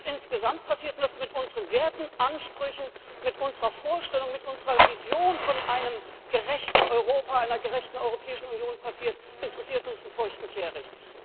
Was insgesamt passiert, was mit unseren Werten, Ansprüchen, mit unserer Vorstellung, mit unserer Vision von einem gerechten Europa, einer gerechten Europäischen Union passiert, interessiert uns einen feuchten Kehricht.